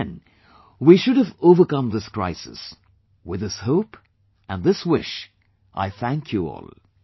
By then we should have overcome this crisis with this hope, and this wish, I thank you all